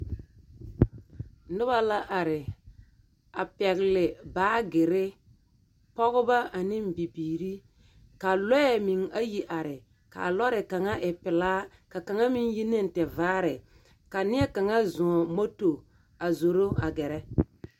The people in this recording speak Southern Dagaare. Noba la are a pɛgele baagere. Pɔgeba ane bibiiri. Ka lɔɛ ayi meŋ are, kaa lɔre kaŋa e pelaa Ka kaŋa meŋ yi ne tevaare. Ka neɛ kaŋa zɔŋ moto a zoro a gɛrɛ.